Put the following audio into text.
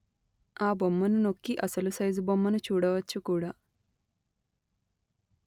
ఆ బొమ్మను నొక్కి అసలు సైజు బొమ్మను చూడవచ్చు కూడా